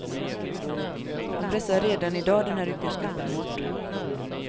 De pressar redan idag den här yrkesgruppen hårt.